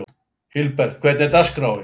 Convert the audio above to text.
Hilbert, hvernig er dagskráin?